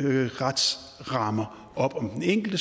retsrammer op om den enkelte